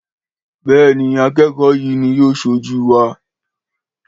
béèni, akékòó yí ní yóò sojú wa